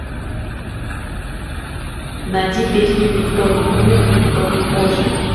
найди песню никто не умер никто не ожил